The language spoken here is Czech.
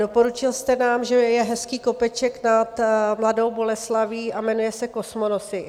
Doporučil jste nám, že je hezký kopeček nad Mladou Boleslaví a jmenuje se Kosmonosy.